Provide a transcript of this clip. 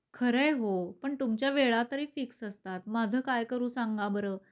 खरय हो पण तुमच्या वेळा तरी फिक्स असतात, माझं काय करू सांगा बरं?